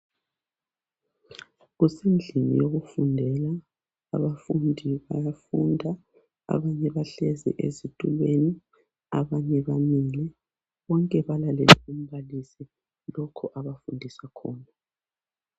Kusendlini yokufundela. Abafundi bayafunda, abanye bahlezi ezitulweni abanye bamile. Bonke balalele umbalisi lokho abafundisa khona.